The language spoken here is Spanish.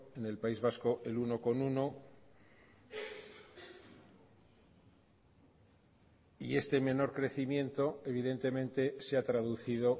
en el país vasco el uno coma uno y este menor crecimiento evidentemente se ha traducido